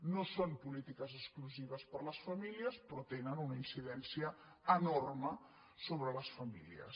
no són polítiques exclusives per a les famílies però tenen una incidència enorme sobre les famílies